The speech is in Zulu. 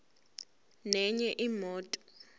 nenye imoto